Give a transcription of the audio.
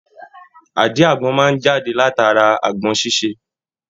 Àdí agbọn máa jáde látara agbọn ṣiṣe.